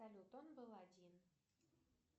салют он был один